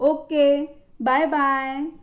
Okay bye bye.